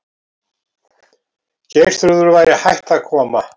Geirþrúður væri hætt að koma.